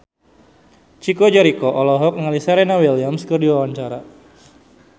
Chico Jericho olohok ningali Serena Williams keur diwawancara